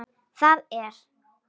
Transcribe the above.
Það er